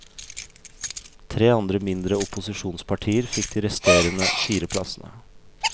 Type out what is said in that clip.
Tre andre mindre opposisjonspartier fikk de resterende fire plassene.